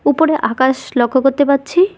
উপরে আকাশ লক্ষ করতে পারছি।